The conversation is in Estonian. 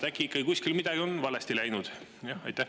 Äkki ikkagi kuskil midagi on valesti läinud?